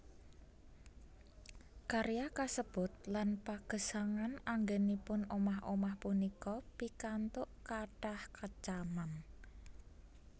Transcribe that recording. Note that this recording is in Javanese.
Karya kasebut lan pagesangan anggènipun omah omah punika pikantuk kathah kecaman